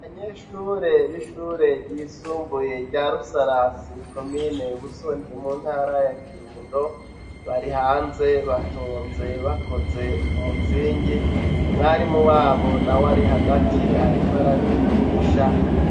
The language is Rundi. Abanyeshure b'ishure ryisumbuye rya Rusarasi komine Busoni mu ntara ya Kirundo, bari hanze batonze bakoze umuzingi, umwarimu wabo nawe ari hagati ariko arabigisha.